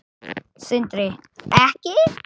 Sindri: Ekki?